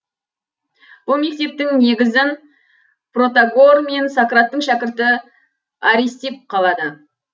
бұл мектептің негізін протагор мен сократтың шәкірті аристипп қалады